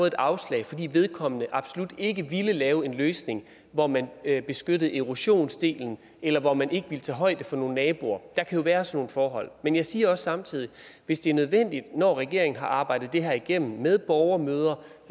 et afslag fordi vedkommende absolut ikke ville lave en løsning hvor man beskyttede erosionsdelen eller hvor man ikke ville tage højde for nogle naboer der kan jo være sådan nogle forhold men jeg siger også samtidig hvis det er nødvendigt når regeringen har arbejdet det her igennem med borgermøder